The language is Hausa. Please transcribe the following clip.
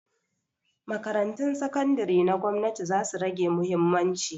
Makarantun sakandari na gwamnati zasu rage mahimmanci.